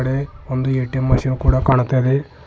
ಒಂದು ATM machine ಕೂಡ ಕಾಣ್ತಾ ಇದೆ.